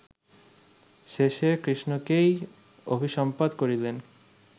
শেষে কৃষ্ণকেই অভিসম্পাত করিলেন